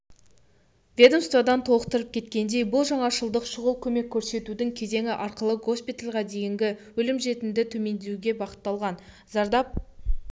ведомстводан толықтырып кеткендей бұл жаңашылдық шұғыл көмек көрсетудің кезеңі арқылы госпитальға дейінгі өлім-жітімді төмендетуге бағытталған зардап